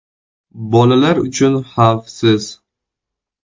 + Bolalar uchun xavfsiz.